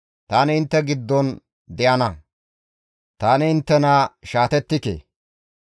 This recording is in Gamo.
Tani intte giddon deyana; ta inttena shaatettike.